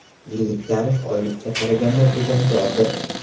Yillik tarif oylikka qaraganda tejamkordir.